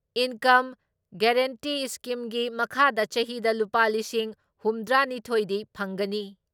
Income guarantee ꯏꯁꯀꯤꯝꯒꯤ ꯃꯈꯥꯗ ꯆꯍꯤꯗ ꯂꯨꯄꯥ ꯂꯤꯁꯤꯡ ꯍꯨꯝꯗ꯭ꯔꯥ ꯅꯤꯊꯣꯏ ꯗꯤ ꯐꯪꯒꯅꯤ ꯫